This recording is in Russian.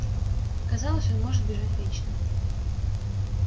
казалось он может бежать вечно